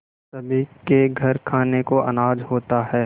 सभी के घर खाने को अनाज होता है